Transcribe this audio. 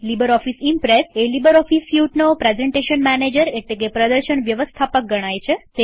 LibreOffice Impress એ LibreOffice સ્યુટનો presentation manager એટલેકે પ્રદર્શન વ્યવસ્થાપક ગણાય છે